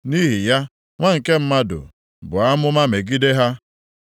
Nʼihi ya, nwa nke mmadụ, buo amụma megide ha.”